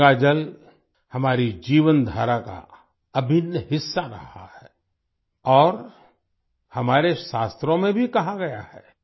गंगा जल हमारी जीवनधारा का अभिन्न हिस्सा रहा है और हमारे शास्त्रों में भी कहा गया है